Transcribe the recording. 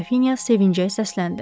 Qrafinya sevincək səsləndi.